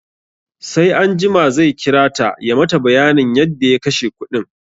Sai anjima zai kirata ya mata bayanin yadda ya kashe kuɗin